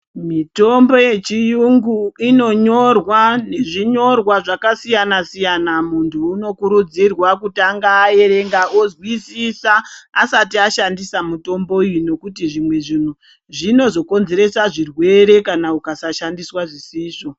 Mitombo yechiyungu inonyorwa nezvinyorwa zvakasiyana-siyana. Muntu unokurudzirwa kutanga aerenga ozwisisa asati ashandisa mitombo iyi. Nokuti zvimwe zvintu zvinozokonzeresa zvirwere kana ukasashandiswa zvisizvo.